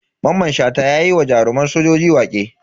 Maman Shata yayi wa jaruman sojoji waƙe.